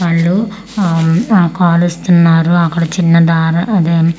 వాళ్ళు ఆమ్ ఆ కాలుస్తున్నారు అక్కడ చిన్న దారి అదే--